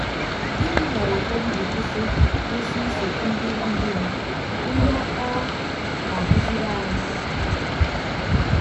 Gịnị mere ụfọdụ ji kwụsị kwụsị iso ndị ndú ha, ihe ọ na-akụziri anyị?